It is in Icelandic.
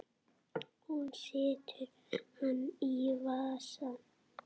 Hún setur hann í vasann.